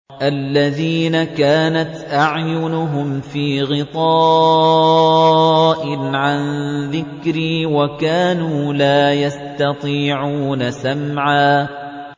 الَّذِينَ كَانَتْ أَعْيُنُهُمْ فِي غِطَاءٍ عَن ذِكْرِي وَكَانُوا لَا يَسْتَطِيعُونَ سَمْعًا